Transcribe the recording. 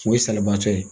O ye salibaatɔ ye